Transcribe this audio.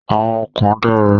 Àwọn kan dára.